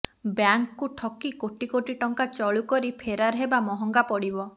ବ୍ୟାଙ୍କକୁ ଠକି କୋଟି କୋଟି ଟଙ୍କା ଚଳୁ କରି ଫେରାର ହେବା ମହଙ୍ଗା ପଡିବ